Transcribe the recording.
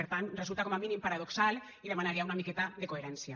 per tant resulta com a mínim paradoxal i demanaria una miqueta de coherència